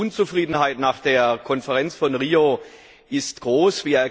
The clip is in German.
Die Unzufriedenheit nach der Konferenz von Rio ist groß.